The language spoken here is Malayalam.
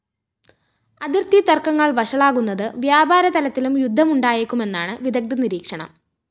അതിര്‍ത്തി തര്‍ക്കങ്ങള്‍ വഷളാകുന്നത് വ്യാപാര തലത്തിലും യുദ്ധമുണ്ടായേക്കുമെന്നാണ് വിദഗ്ധ നിരീക്ഷണം